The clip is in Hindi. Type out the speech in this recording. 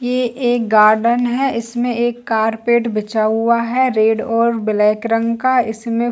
ये एक गार्डन है इसमें एक कारपेट बिछा हुआ है रेड और ब्लैक रंग का इसमें--